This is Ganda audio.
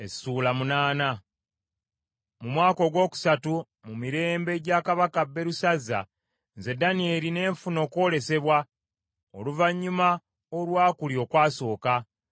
Mu mwaka ogwokusatu mu mirembe gya Kabaka Berusazza, nze Danyeri ne nfuna okwolesebwa oluvannyuma olwa kuli okwasooka.